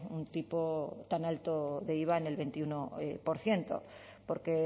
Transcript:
un tipo tan alto de iva en el veintiuno por ciento porque